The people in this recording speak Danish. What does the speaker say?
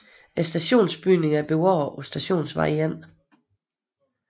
Stationsbygningen er bevaret på Stationsvej 1